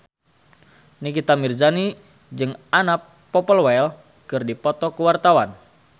Nikita Mirzani jeung Anna Popplewell keur dipoto ku wartawan